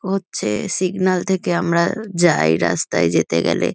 ও হচ্ছে সিগনাল থেকে আমরা যাই রাস্তায় যেতে গেলে।